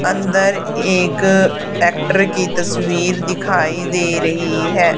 अंदर एक एक्टर की तस्वीर दिखाई दे रही है।